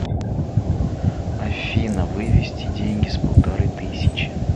афина вывести деньги с полторы тысячи